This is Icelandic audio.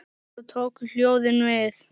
Svo tóku ljóðin við.